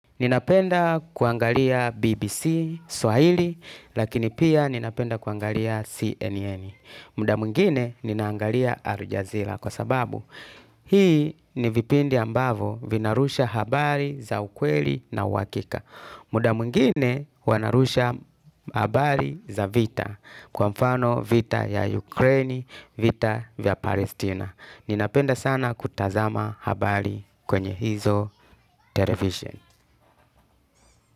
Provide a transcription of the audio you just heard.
Ninapenda kuangalia BBC, Swahili, lakini pia ninapenda kuangalia CNN. Muda mwingine ninaangalia Aljazeera kwa sababu hii ni vipindi ambavo vinarusha habari za ukweli na uhakika. Muda mwingine wanarusha habari za vita kwa mfano vita ya Ukraini, vita ya Palestina. Ninapenda sana kutazama habari kwenye hizo televiseni.